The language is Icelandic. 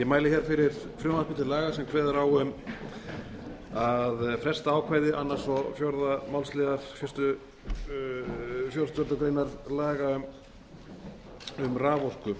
mæli fyrir frumvarpi til laga sem kveður á um að fresta ákvæði annarrar og fjórða málsliðar fjórtándu grein laga um raforku